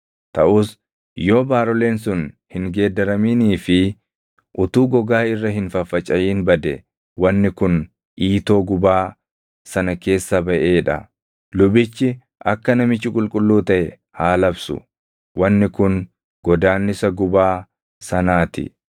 Taʼus yoo baaroleen sun hin geeddaraminii fi utuu gogaa irra hin faffacaʼin bade wanni kun iitoo gubaa sana keessa baʼee dha. Lubichi akka namichi qulqulluu taʼe haa labsu; wanni kun godaannisa gubaa sanaa ti.